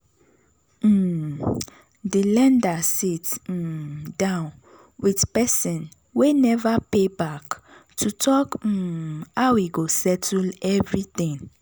um di lender sit um down with person wey never pay back to talk um how e go settle everything.